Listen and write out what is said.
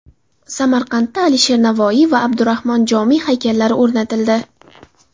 Samarqandda Alisher Navoiy va Abdurahmon Jomiy haykallari o‘rnatildi.